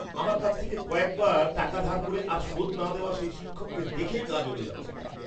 আমার কাছ থেকে কয়েকবার টাকা ধার করে আর শোধ না দেওয়া সেই শিক্ষককে দেখেই গা জ্বলে যাচ্ছিল।